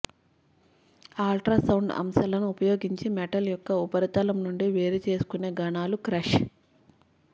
ultrasound అంశాలను ఉపయోగించి metal యొక్క ఉపరితలం నుండి వేరుచేసుకొనే ఘనాలు క్రష్